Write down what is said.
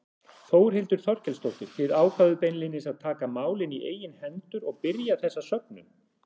Þórhildur Þorkelsdóttir: Þið ákváðuð beinlínis að taka málin í eigin hendur og byrja þessa söfnun?